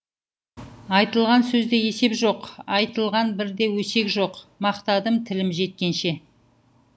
айтылған сөзде есеп жоқ айтылған бір де өсек жоқ мақтадым тілім жеткенше